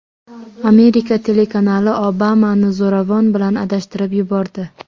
Amerika telekanali Obamani zo‘ravon bilan adashtirib yubordi .